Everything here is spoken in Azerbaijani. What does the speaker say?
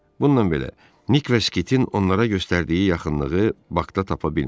Bununla belə, Nik və Skitin onlara göstərdiyi yaxınlığı Bakda tapa bilmədilər.